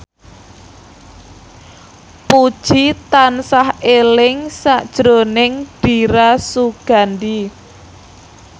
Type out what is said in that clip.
Puji tansah eling sakjroning Dira Sugandi